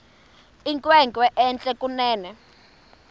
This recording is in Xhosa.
inkwenkwe entle kunene